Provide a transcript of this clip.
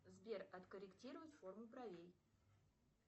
сбер откорректировать форму бровей